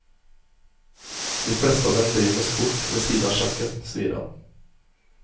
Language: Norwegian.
De fleste av dem driver med sport ved siden av sjakken, sier han.